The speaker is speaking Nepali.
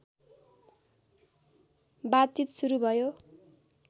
बातचित सुरु भयो